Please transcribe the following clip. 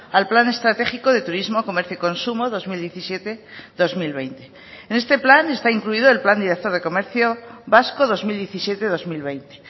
al plan estratégico de turismo comercio y consumo dos mil diecisiete dos mil veinte en este plan está incluido el plan director de comercio vasco dos mil diecisiete dos mil veinte